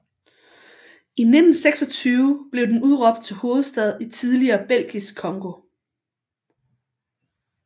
I 1926 blev den udråbt til hovedstad i tidligere Belgisk Congo